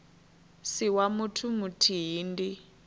si wa muthu muthihi ndi